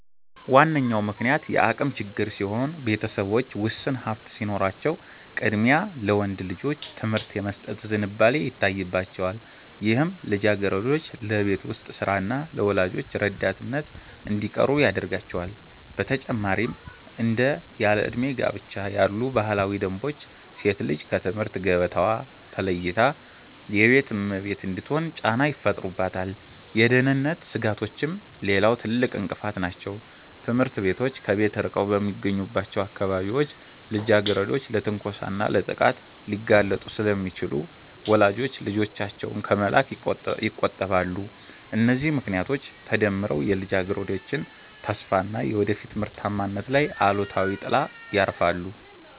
ዋነኛው ምክንያት የአቅም ችግር ሲሆን፣ ቤተሰቦች ውስን ሀብት ሲኖራቸው ቅድሚያ ለወንድ ልጆች ትምህርት የመስጠት ዝንባሌ ይታይባቸዋል፤ ይህም ልጃገረዶች ለቤት ውስጥ ሥራና ለወላጆች ረዳትነት እንዲቀሩ ያደርጋቸዋል። በተጨማሪም እንደ ያለዕድሜ ጋብቻ ያሉ ባህላዊ ደንቦች ሴት ልጅ ከትምህርት ገበታዋ ተለይታ የቤት እመቤት እንድትሆን ጫና ይፈጥሩባታል። የደህንነት ስጋቶችም ሌላው ትልቅ እንቅፋት ናቸው፤ ትምህርት ቤቶች ከቤት ርቀው በሚገኙባቸው አካባቢዎች ልጃገረዶች ለትንኮሳና ለጥቃት ሊጋለጡ ስለሚችሉ ወላጆች ልጆቻቸውን ከመላክ ይቆጠባሉ። እነዚህ ምክንያቶች ተደምረው የልጃገረዶችን ተስፋና የወደፊት ምርታማነት ላይ አሉታዊ ጥላ ያርፋሉ